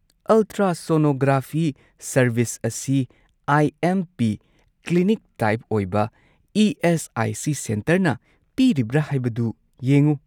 Ultrasonography service ꯑꯁꯤ I M P clinic type ꯑꯣꯏꯕ ESIC. ꯁꯦꯟꯇꯔꯅ ꯄꯤꯔꯤꯕ꯭ꯔꯥ ꯍꯥꯏꯕꯗꯨ ꯌꯦꯡꯎ꯫